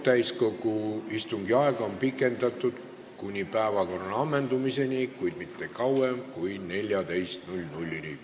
Täiskogu istungi aega on pikendatud kuni päevakorra ammendamiseni, kuid mitte kauem kui kella 14-ni.